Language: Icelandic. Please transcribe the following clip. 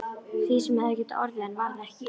Því sem hefði getað orðið en varð ekki.